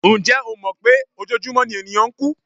Ǹjẹ́ o mọ̀ pé ojoojúmọ́ ni ènìyàn ń kú?